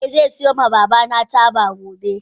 Eh ze siyo ma babana taba gobe.